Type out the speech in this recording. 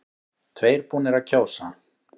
Tveir búnir að kjósa